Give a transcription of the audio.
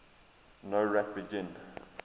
nowrap begin